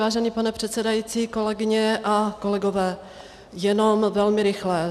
Vážený pane předsedající, kolegyně a kolegové, jenom velmi rychle.